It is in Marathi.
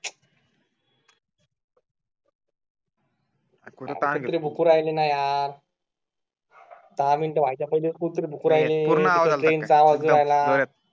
कुठे ताण कुत्रे भुकु राहिले ना यार दहा मिनिट व्हायच्या पहिले कुत्रे भुकु राहिले